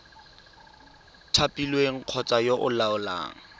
thapilweng kgotsa yo o laolang